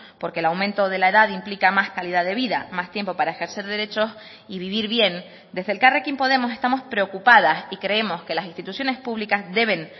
porque el aumento de la edad implica más calidad de vida más tiempo para ejercer derechos y vivir bien desde elkarrekin podemos estamos preocupadas y creemos que las instituciones públicas deben